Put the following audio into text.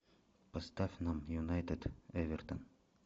поставь нам юнайтед эвертон